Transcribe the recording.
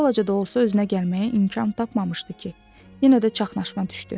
Bir balaca da olsa özünə gəlməyə imkan tapmamışdı ki, yenə də çaşqınma düşdü.